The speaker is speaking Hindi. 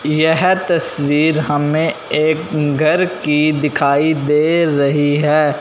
यह तस्वीर हमें एक घर की दिखाई दे रही है।